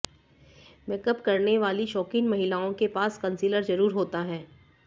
makeup करने वाली शौकीन महिलाओं के पास कंसीलर जरुर होता हैं